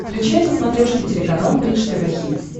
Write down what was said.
включай на смотрешке телеканал бридж тв хитс